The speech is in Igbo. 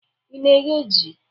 Ị na-eghe ji?